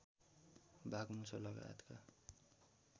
बाघ मुसो लगायतका